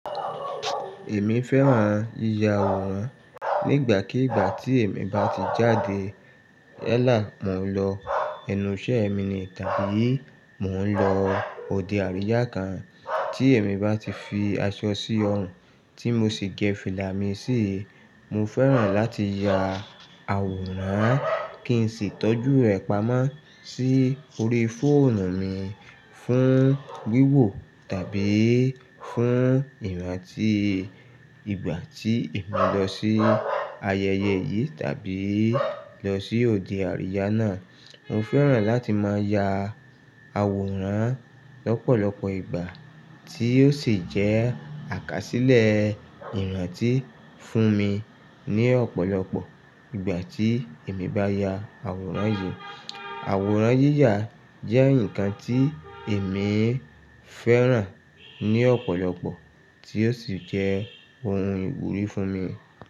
Èmi fẹ́ràn yíya àwòrán. Nígbàkígbà tí èmi bá ti jáde, yalá, mò ń lọ enú iṣẹ́ mi ni tàbí mò ń lọ òde àríyá kan, tí èmi bá ti fi aṣọ sí ọrùn tí mo sì gẹ fílà mi sí, mo fẹ́ràn láti ya àwòrán kí n sì tọ́jú rẹ̀ pamọ́ sí orí fóònù mi fún wíwò tàbí fún ìrántí ìgbà tí èmi lọ sí ayẹyẹ yìí tàbí lọ sí òde àríyá náà. Mo fẹ́ràn láti máa ya àwòrán lọ́pọ̀lọpọ̀ ìgbà tí ó sì jẹ́ àkásílẹ̀ ìrántí fún mi ní ọ̀pọ̀lọpọ̀ ìgbà tí èmi bá ya àwòrán yìí. Àwòrán yíyà jẹ́ nǹkan tí èmi fẹ́ràn ní ọ̀pọ̀lọpọ̀ tí ó sì jẹ́ ohun ìwúrí fún mi.